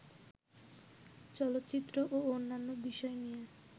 চলচ্চিত্র ও অন্যান্য বিষয় নিয়ে